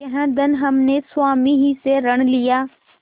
यह धन हमने स्वामी ही से ऋण लिया